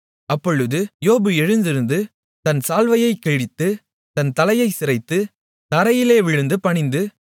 அப்பொழுது யோபு எழுந்திருந்து தன் சால்வையைக் கிழித்து தன் தலையைச் சிரைத்து தரையிலே விழுந்து பணிந்து